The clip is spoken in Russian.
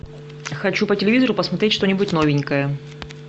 хочу по телевизору посмотреть что нибудь новенькое